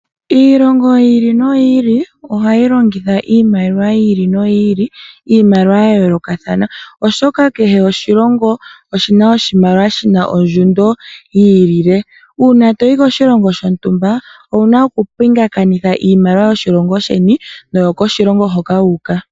Iilongo yi ili noyi ili ohayi longitha iimaliwa yi ili noyi ili iimaliwa yayoolokathana oshoka kehe oshilongo oshina oshimaliwa shina ondjundo yi ilile, una toyi koshilongo shontumba owuna okupingakanitha iimaliwa yoshilongo sheni no yokoshilongo hoka wu uka.